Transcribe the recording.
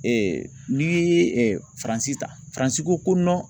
n'i ye Faransi ta Faransi ko ko